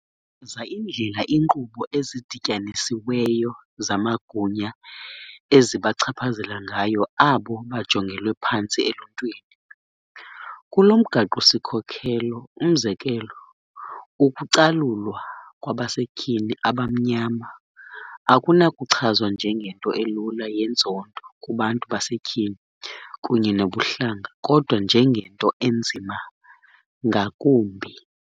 chaza indlela iinkqubo ezidityanisiweyo zamagunya ezibachaphazela ngayo abo bajongelwe phantsi eluntwini. Kulo mgaqo-sikhokelo, umzekelo, ukucalulwa kwabasetyhini abamnyama akunakuchazwa njengento elula yenzondo kubantu basetyhini kunye nobuhlanga, kodwa njengento enzima ngakumbi.